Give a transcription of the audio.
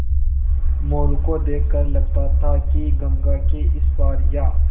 मोरू को देख कर लगता था कि गंगा के इस पार या